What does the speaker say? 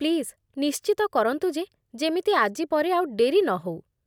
Please, ନିଶ୍ଚିତ କରନ୍ତୁ ଯେ ଯେମିତି ଆଜି ପରେ ଆଉ ଡେରି ନହଉ ।